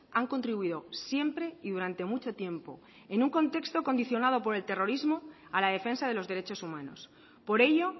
han contribuido siempre y durante mucho tiempo en un contexto condicionado por el terrorismo a la defensa de los derechos humanos por ello